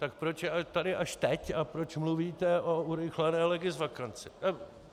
Tak proč je tady až teď a proč mluvíte o urychlené legisvakanci?